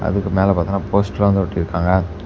அதுக்கு மேல பார்த்தோம்னா போஸ்டரா ஓட்டி இருக்காங்க.